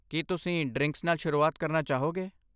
ਕੀ ਤੁਸੀਂ ਡ੍ਰਿੰਕ ਨਾਲ ਸ਼ੁਰੂਆਤ ਕਰਨਾ ਚਾਹੋਗੇ?